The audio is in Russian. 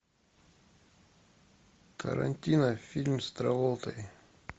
тарантино фильм с траволтой